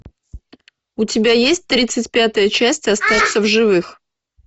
у тебя есть тридцать пятая часть остаться в живых